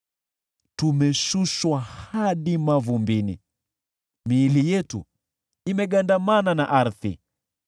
Tumeshushwa hadi mavumbini, miili yetu imegandamana na ardhi.